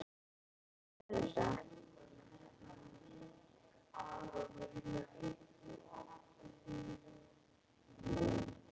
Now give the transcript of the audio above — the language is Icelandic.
Hvað kostar þetta?